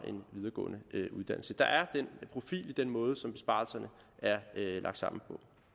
en videregående uddannelse der er den profil i den måde som besparelserne er lagt sammen